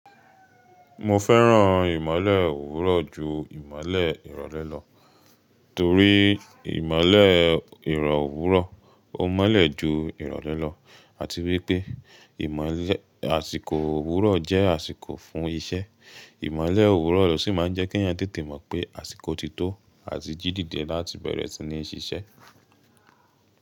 Mo fẹ́ràn ìmọ́lẹ̀ òwúrọ̀ ju ìmọ́lẹ̀ ìrọ̀lẹ́ lọ, torí ìmọ́lẹ̀ ìrọ̀ òwúrọ̀ ó mọ́lẹ̀ ju ìrọ̀lẹ́ lọ, àti wípé ìmọlẹ́ àsìkò òwúrọ̀ jẹ́ àsìkò fún iṣẹ́. Ìmọ́lẹ̀ òwúrọ̀ ló sì máa ń jẹ́ kí a tètè mọ̀ pé àsìkò ti tó àti jí dìde láti bẹ̀rẹ̀ ìṣinísíṣẹ́.